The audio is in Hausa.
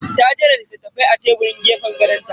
Ta jera littafai a teburin gefen gadon ta.